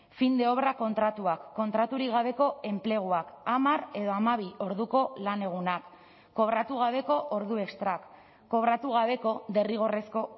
fin de obra kontratuak kontraturik gabeko enpleguak hamar edo hamabi orduko lanegunak kobratu gabeko ordu estrak kobratu gabeko derrigorrezko